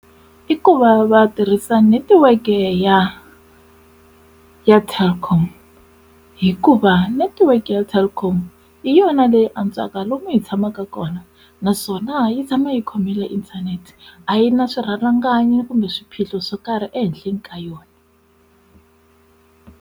I ku va va tirhisa netiweke ya ya telkom hikuva netiweke ya telkom hi yona leyi antswaka lomu hi tshamaka kona naswona yi tshama yi khomile inthanete a yi na swirhalanganyi kumbe swiphiqo swo karhi ehenhleni ka yona.